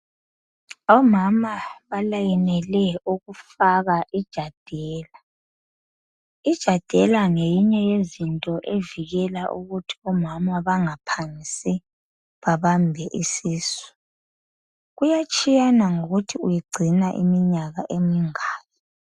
Omama balayinele ukufaka i Jadela . Ijadela ngeyinye yezinto evikela ukuthi omama bangaphangisi babambe isisu kuyatshiyana ngokuthi uyigcina iminyaka emingaki.